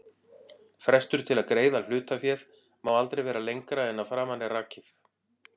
Frestur til að greiða hlutaféð má aldrei vera lengra en að framan er rakið.